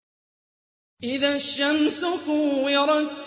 إِذَا الشَّمْسُ كُوِّرَتْ